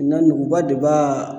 nuguba de b'a